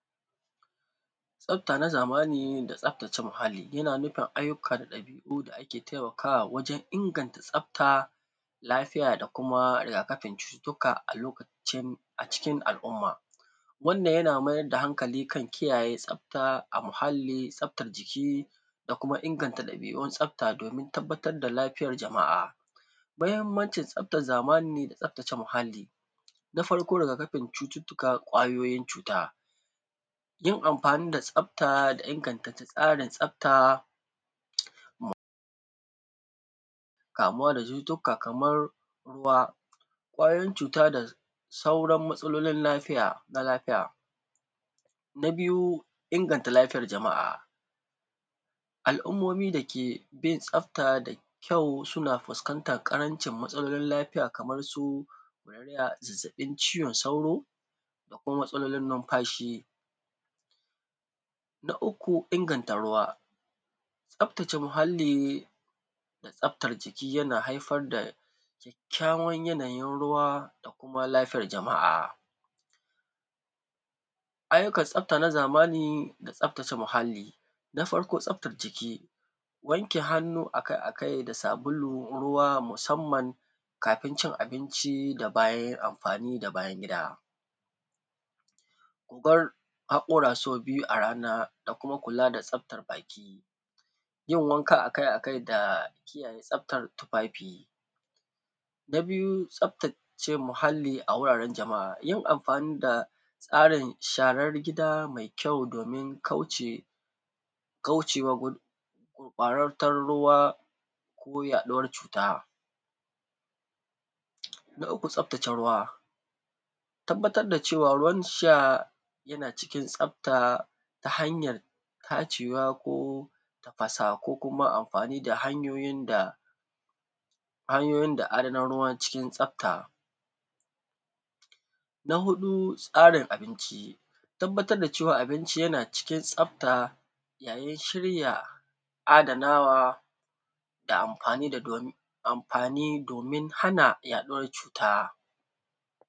Tsafta na zamani, da tsaftace muhalli, yana nufin ayyukan ɗabi'u da ake taimakawa wajen inganta tsafta, lafiya da kuma riga-kafin cututtuka a lokacin, a cikin al'umma. Wannan yana mayar da hankali kan kiyaye tsafta a muhalli, tsaftar jiki, da kuma inganta ɗabi'un tsafta domin tabbatar da lafiyar jama'a. Muhimmancin tsaftar zamani da tsaftace muhalli. Na farko, riga-kafin cututtuka, ƙwayoyin cuta, yin amfani da tsafta da inganta tsarin tsafta, kamuwa da cututtuka kamar, ruwa, ƙwayoyin cuta da sauran matsalolin lafiya, na lafiya. Na biyu, inganta lafiyar jama'a. Al'ummomi da ke bin tsafta da kyau suna fuskantar ƙarancin matsalolin lafiya kamar su, zazzaɓin cizon sauro, da kuma matsalolin numfashi. Na uku, inganta ruwa. Tsaftace muhalli, da tsaftar jiki yana haifar da kyakkyawan yanayin ruwa da kuma lafiyar jama'a. Ayyukan tsafta na zamani da tsaftace muhalli. Na farko tsaftace jiki, wanke hannu a kai-a kai da sabulu, ruwa musamman kafin cin abinci da bayan amfani da bayan gida. Bar haƙora sau biyu a rana da kuma kula da tsaftar baki; yin wanka a kai-a kai da kiyaye tsaftar tufafi. Na biyu, tsaftace muhalli a wuraren jama'a. Yin amfani da tsarin sharar gida mai kyau domin kauce, kauce wa gurɓataccen ruwa gudun yaɗuwar cuta. Na uku tsaftace ruwa. Tabbatar da cewa ruwan sha yana cikin tsafta, ta hanyar tacewa ko tafasawa ko kuma amfani da hanyoyin da, hanyoyin da adanan ruwa cikin tsafta. Na huɗu, tsarin abinci. Tabbatar da cewa abinci yana cikin tsafta yayin shirya, adanawa da amfani da, amfani domin hana yaɗuwar cuta.